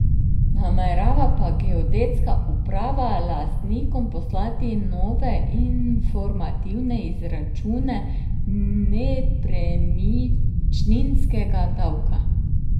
Namerava pa geodetska uprava lastnikom poslati nove informativne izračune nepremičninskega davka.